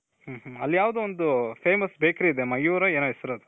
ಹೂ ಹು ಅಲ್ಲಿ ಯಾವ್ದೋ ಒಂದು famous bakery ಇದೆ. ಮಯೂರ್ ಏನೋ ಹೆಸ್ರದು.